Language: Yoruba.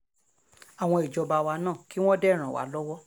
àwọn ìjọba wa náà kí wọ́n dé ràn wá lọ́wọ́